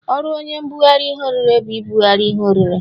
Ọrụ onye mbụgarị ihe orire bụ ibụgarị ihe orire.